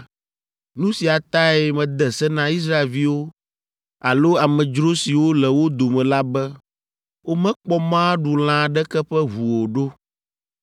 Nu sia tae mede se na Israelviwo alo amedzro siwo le wo dome la be womekpɔ mɔ aɖu lã aɖeke ƒe ʋu o ɖo.